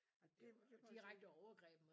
Og det det var sådan